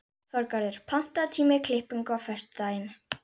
Þorgarður, pantaðu tíma í klippingu á föstudaginn.